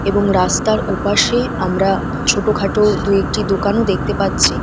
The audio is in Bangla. এবং রাস্তার ওপাশে আমরা ছোটোখাটো দু-একটি দোকানও দেখতে পাচ্ছি।